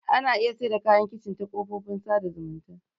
Ana iya sayar da kayan kicin ta kafofin sada zumunta.